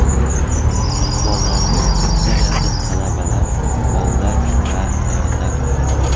Qurbonlarning aksariyati talabalar, bolalar va ayollar.